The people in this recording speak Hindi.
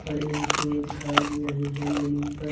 पड़े हुए दिखाई दे रहे हैं जमीन पर।